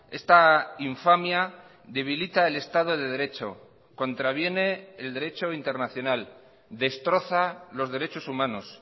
esta infamia debilita el estado de derecho contraviene el derecho internacional destroza los derechos humanos